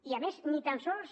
i a més ni tan sols